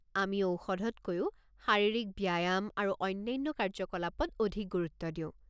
আমি ঔষধতকৈও শাৰীৰিক ব্যায়াম আৰু অন্যান্য কাৰ্য্যকলাপত অধিক গুৰুত্ব দিওঁ।